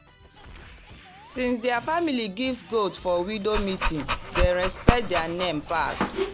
since their family give goat for widow meeting dem respect their name pass.